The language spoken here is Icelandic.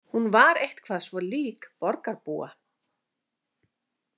Hún var eitthvað svo lík borgarbúa.